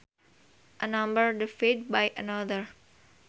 A number divided by another